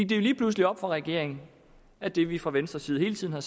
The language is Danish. jo lige pludselig op for regeringen at det vi fra venstres side hele tiden